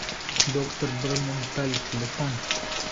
доктор борменталь телефон